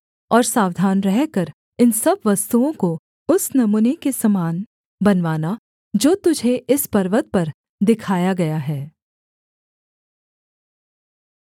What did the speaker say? और सावधान रहकर इन सब वस्तुओं को उस नमूने के समान बनवाना जो तुझे इस पर्वत पर दिखाया गया है